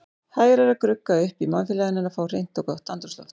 Hægara er að grugga upp í mannfélaginu en að fá hreint og gott andrúmsloft.